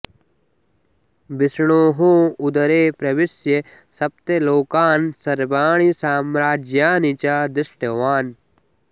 विष्णोः उदरे प्रविश्य सप्त लोकान् सर्वाणि सम्राज्यानि च दृष्टवान्